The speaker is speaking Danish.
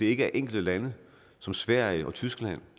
ikke er enkelte lande som sverige og tyskland